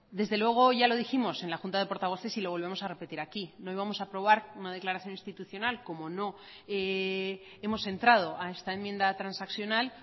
desde luego ya lo dijimos en la junta de portavoces y lo volvemos a repetir aquí no íbamos a aprobar una declaración institucional como no hemos entrado a esta enmienda transaccional